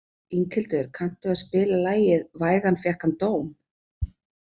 Inghildur, kanntu að spila lagið „Vægan fékk hann dóm“?